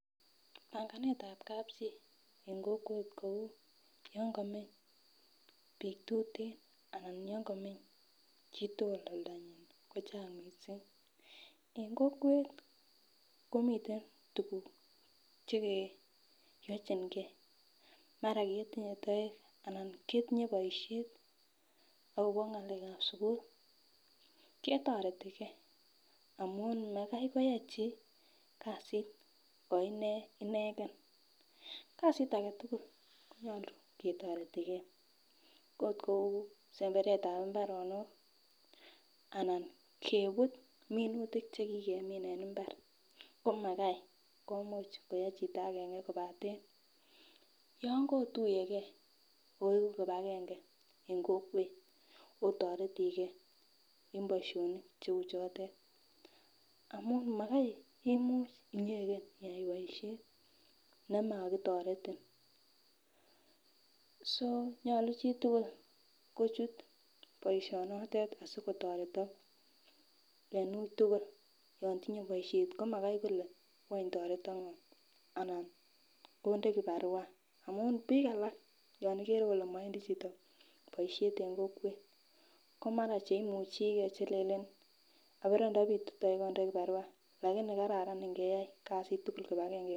Panganetab kapchi kou yon komeny bik tuten anan oloon komeny chitugul oldanyin ko chang mising en kokwet komiten tuguk Che keyochin ge maran ketinye toek anan ketinye boisiet agobo ngalekab sukul ketoreti gee amun makoi koyai chi kasit ko ine inegen kasit age tugul konyolu ketoreti gee okot kou semberetab mbarenik anan kebut minutik Che ki kemin en mbar ko magai Imuch koyai chito agenge kobaten yon kotuye ge oegu kibagenge en kokwet otoreti ge en boisionik Cheu chotet amun magai Imuch inyegen iyai boisiet nemokitoretin nyolu chi tugul kochut boisionotet asi kotoretok en ui tugul yon tinye boisiet ko magoi kole wany toreton ngo anan konde kibarua amun bik alak olon ikere ile mowendi chito boisiet en kokwet ko mara Che imuche Ke Che lelen abore ndo bitu toek andoi kibarua kobaten kararan ingeyai kasit kibagenge en kokwet